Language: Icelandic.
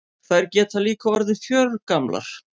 Þær geta líka orðið fjörgamlar.